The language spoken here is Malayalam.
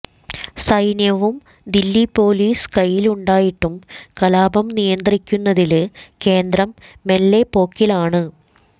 സൈന്യവും ദില്ലി പോലീസും കൈയിലുണ്ടായിട്ടും കലാപം നിയന്ത്രിക്കുന്നതില് കേന്ദ്രം മെല്ലെപ്പോക്കിലാണ്